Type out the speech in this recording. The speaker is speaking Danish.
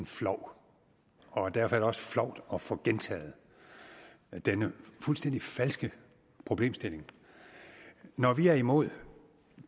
flov og derfor er det også flovt at få gentaget denne fuldstændig falske problemstilling når vi er imod